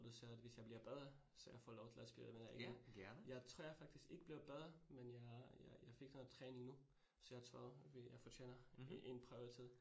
Og du sagde, at hvis jeg bliver bedre, så jeg får lov til at spille med dig igen. Jeg tror, jeg faktisk ikke bliver bedre, men jeg jeg fik noget træning nu, så jeg tror, jeg fortjener en prøvetid